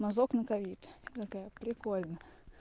мазок на ковид я такая прикольно